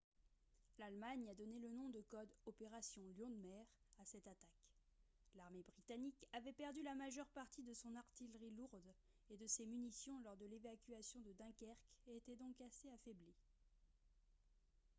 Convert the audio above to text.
l’allemagne a donné le nom de code « opération lion de mer » à cette attaque. l’armée britannique avait perdu la majeure partie de son artillerie lourde et de ses munitions lors de l’évacuation de dunkerque et était donc assez affaiblie